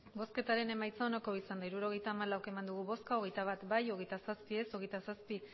emandako botoak hirurogeita hamalau bai hogeita bat ez hogeita zazpi abstentzioak hogeita zazpi